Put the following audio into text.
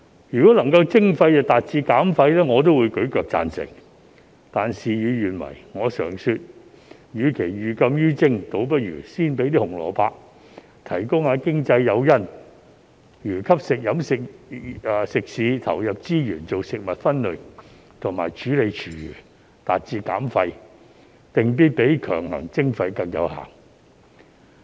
如果徵費能夠達致減廢，我也會舉腳贊成，但事與願違，我常說與其寓禁於徵，倒不如先給一些"紅蘿蔔"，提供經濟誘因，例如吸引食肆投入資源做食物分類和處理廚餘，達致減廢，定必比強行徵費更有效。